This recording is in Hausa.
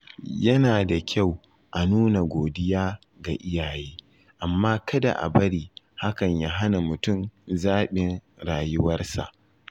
Yana da kyau a nuna godiya ga iyaye, amma kada a bari hakan ya hana mutum zaɓin rayuwarsa.